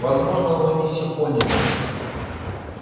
возможно вы не всё поняли